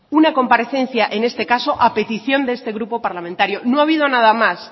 una comparecencia en este caso a petición de este grupo parlamentario no ha habido nada más